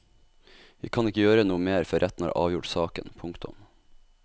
Vi kan ikke gjøre noe mer før retten har avgjort saken. punktum